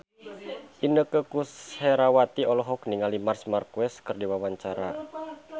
Inneke Koesherawati olohok ningali Marc Marquez keur diwawancara